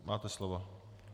Máte slovo.